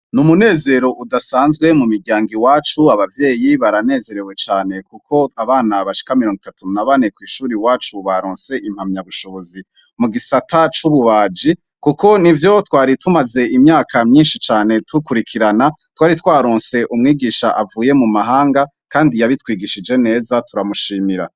Ni umunezero udasanzwe mu miryango i wacu abavyeyi baranezerewe cane, kuko abana ba shikamironi itatu na bane kw'ishuri wacu baronse impamyabushobozi mu gisata c'ububaji, kuko ni vyo twari tumaze imyaka myinshi cane tukurikirana twari twaronse umwigisha avuye mu mahanga, kandi yabitwigishije neza turamushimira.